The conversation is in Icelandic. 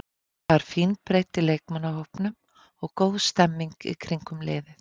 Það er fín breidd í leikmannahópnum og góð stemmning í kringum liðið.